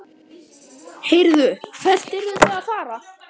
Heyrðu, hvert eruð þið að fara?